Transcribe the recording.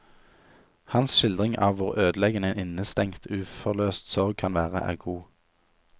Hans skildring av hvor ødeleggende en innestengt, uforløst sorg kan være, er god.